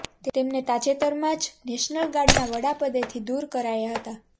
તેમને તાજેતરમાં જ નેશનલ ગાર્ડના વડાપદેથી દૂર કરાયા હતાં